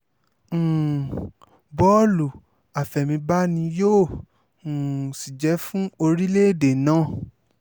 um bó̩ò̩lù àfẹ̀mírbà ni yóò um sì jẹ́ fún orílẹ̀‐èdè náà